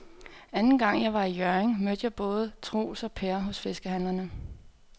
Anden gang jeg var i Hjørring, mødte jeg både Troels og Per hos fiskehandlerne.